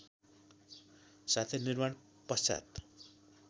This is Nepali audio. साथै निर्माण पश्चात